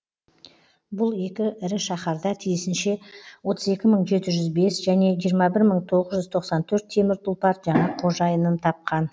бұл екі ірі шаһарда тиісінше отыз екі мың жеті жүз бес және жиырма бір мың тоғыз жүз тоқсан төрт темір тұлпар жаңа қожайынын тапқан